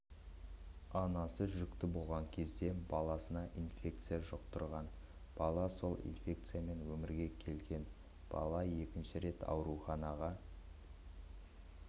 анасы жүкті болған кезде баласына инфекция жұқтырған бала сол инфекциямен өмірге келген бала екінші рет ауруханаға